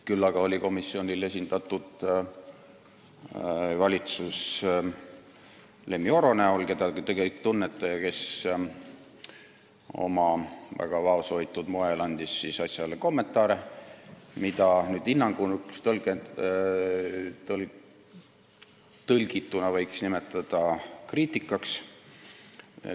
Küll aga oli komisjonis valitsus esindatud Lemmi Oro näol, keda te kõik tunnete ja kes oma väga vaoshoitud moel andis asja kohta kommentaare, mida hinnanguks tõlgituna võiks nimetada kriitikaks.